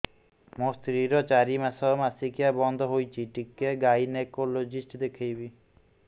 ମୋ ସ୍ତ୍ରୀ ର ଚାରି ମାସ ମାସିକିଆ ବନ୍ଦ ହେଇଛି ଟିକେ ଗାଇନେକୋଲୋଜିଷ୍ଟ ଦେଖେଇବି